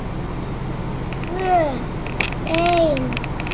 Tvö ein.